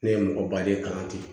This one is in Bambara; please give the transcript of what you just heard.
Ne ye mɔgɔ baden kalan ten